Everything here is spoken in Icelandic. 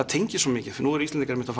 tengist svo mikið nú eru Íslendingar einmitt